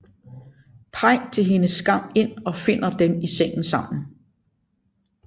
Paik til hendes skam ind og finder dem i sengen sammen